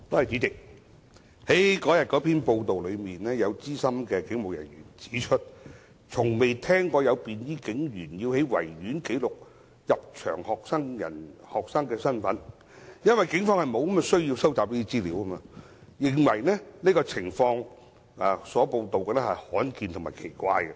主席，根據有關報道，有資深警務人員指出，從未聽說有便衣警員在維多利亞公園記錄入場學生的身份，因為警方沒有需要收集這些資料，他亦認為報道所述的情況罕見及奇怪。